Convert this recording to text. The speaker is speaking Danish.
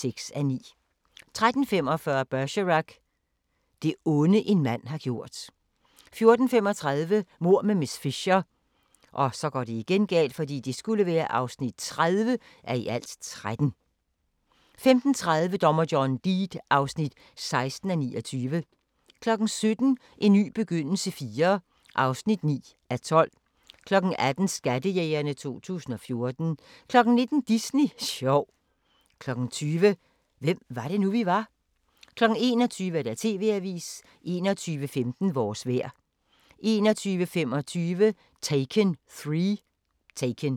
13:45: Bergerac: Det onde, en mand har gjort 14:35: Mord med miss Fisher (30:13) 15:30: Dommer John Deed (16:29) 17:00: En ny begyndelse IV (9:12) 18:00: Skattejægerne 2014 19:00: Disney sjov 20:00: Hvem var det nu, vi var? 21:00: TV-avisen 21:15: Vores vejr 21:25: Taken 3